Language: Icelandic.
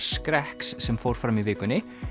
skrekks sem fóru fram í vikunni